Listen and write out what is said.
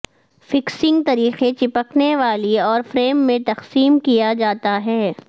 fixing طریقے چپکنے والی اور فریم میں تقسیم کیا جاتا ہے